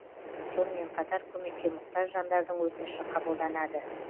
сонымен қатар көмекке мұқтаж жандардың өтініші қабылданады